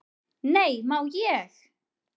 """Nei, má ég!"""